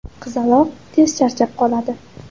Qizaloq tez charchab qoladi.